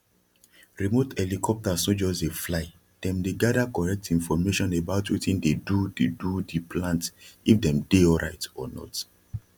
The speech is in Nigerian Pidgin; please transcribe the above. remote helicopters no just dey fly dem dey gather correct information about wetin dey do the do the plant if dem dey alright or not